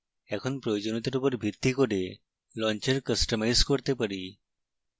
এখন প্রয়োজনীয়তার উপর ভিত্তি করে launcher কাস্টমাইজ করা শিখি